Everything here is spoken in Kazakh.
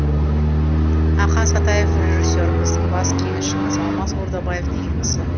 ақан сатаев режиссер біздің бас кеңесшіміз алмас ордабаев деген кісі